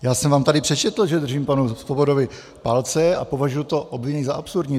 Já jsem vám tady přečetl, že držím panu Svobodovi palce a považuji to obvinění za absurdní.